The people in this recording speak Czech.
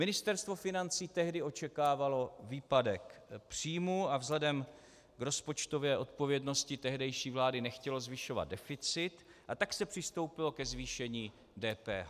Ministerstvo financí tehdy očekávalo výpadek příjmů a vzhledem k rozpočtové odpovědnosti tehdejší vlády nechtělo zvyšovat deficit, a tak se přistoupilo ke zvýšení DPH.